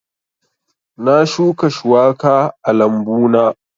Na shuka shuwaka a lambu na